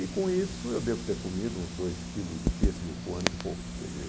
E com isso eu devo ter comido uns dois quilos de pêssego com um ano e pouco, quer dizer